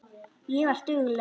Ég var dugleg.